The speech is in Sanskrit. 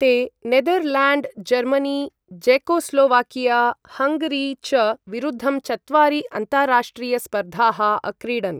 ते नेदरल्याण्ड्, जर्मनी, ज़ेकोस्लोवाकिया, हङ्गरी च विरुद्धं चत्वारि अन्ताराष्ट्रियस्पर्धाः अक्रीडन्।